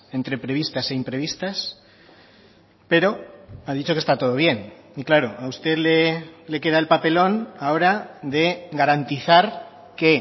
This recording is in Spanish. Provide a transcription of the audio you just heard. entre previstas e imprevistas pero ha dicho que está todo bien y claro a usted le queda el papelón ahora de garantizar que